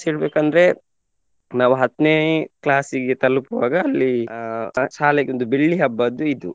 ಹೇಳ್ಬೇಕಂದ್ರೆ ನಾವು ಹತ್ನೆ class ಗೆ ತಲುಪುವಾಗ ಅಲ್ಲಿ ಅಹ್ ಶಾಲೆಗೊಂದು ಬೆಳ್ಳಿ ಹಬ್ಬದ್ದು ಇದು.